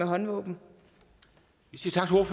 håndvåben